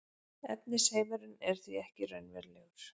efnisheimurinn er því ekki raunverulegur